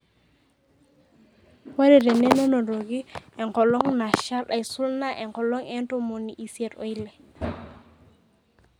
Ore tene nenotoki enkolong nashal aisul naa enkolong e ntomoni isiet oile.